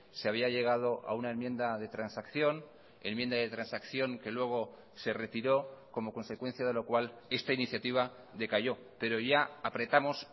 se había llegado a una enmienda de transacción enmienda de transacción que luego se retiró como consecuencia de lo cual esta iniciativa decayó pero ya apretamos